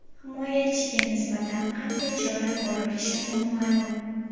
Himoyachiga nisbatan qanday chora ko‘rilishi noma’lum.